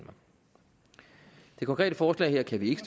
konkrete forslag her kan vi ikke